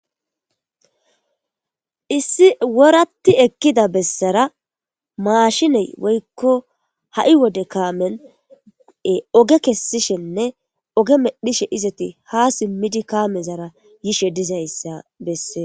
Issi woratti ekkida bessara maashinen woykko ha7i wode kaamen oge kesishenne oge medhishe ha simidi kaamezara yishe dizayssa bessees.